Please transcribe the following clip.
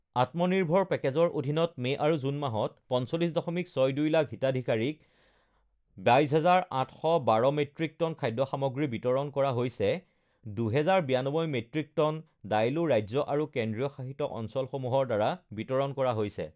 আত্মনিৰ্ভৰ পেকেজৰ অধীনত মে আৰু জুন মাহত ৪৫.৬২ লাখ হিতাধিকাৰীক ২২,৮১২ মেট্ৰিক টন খাদ্য সামগ্ৰী বিতৰণ কৰা হৈছে ২,০৯২ মেট্ৰিক টন দাইলো ৰাজ্য আৰু কেন্দ্ৰীয় শাসিত অঞ্চলসমূহৰ দ্বাৰা বিতৰণ কৰা হৈছে